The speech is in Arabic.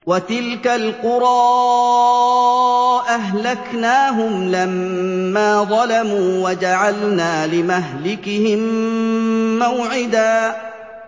وَتِلْكَ الْقُرَىٰ أَهْلَكْنَاهُمْ لَمَّا ظَلَمُوا وَجَعَلْنَا لِمَهْلِكِهِم مَّوْعِدًا